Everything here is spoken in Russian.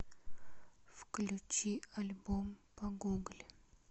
включи альбом погугли